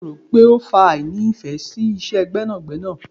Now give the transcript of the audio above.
Kí lo rò pé ó fa àìní ìfẹ́ sí Iṣẹ́ gbẹ́nàgbẹ́nà.